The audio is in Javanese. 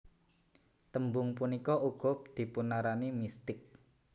Tembung punika uga dipunarani mistik